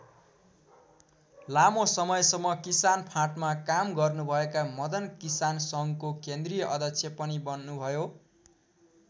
लामो समयसम्म किसान फाँटमा काम गर्नुभएका मदन किसान सङ्घको केन्द्रीय अध्यक्ष पनि बन्नुभयो।